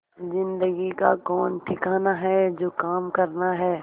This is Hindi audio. जिंदगी का कौन ठिकाना है जो काम करना है